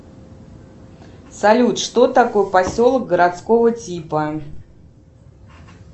салют что такое поселок городского типа